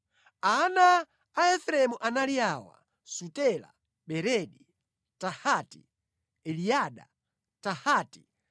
Ana a Efereimu anali awa: Sutela, Beredi, Tahati, Eliada, Tahati,